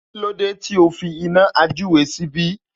Kílódé tí o fi iná àjúre síbí?